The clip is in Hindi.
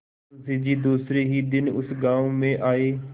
मुँशी जी दूसरे ही दिन उस गॉँव में आये